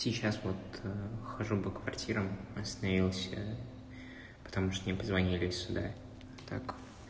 сейчас вот хожу по квартирам остановился потому что мне позвонили сюда так